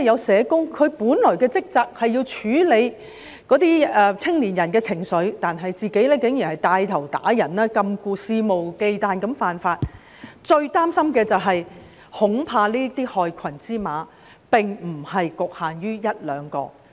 社工本來的職責是要處理青年人的情緒，但我們現時看到他竟然牽頭打人、禁錮，肆無忌憚地犯法，最令人擔心的是，這些害群之馬恐怕並不局限於一兩人。